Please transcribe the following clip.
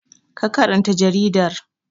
Ka karanta jaridar!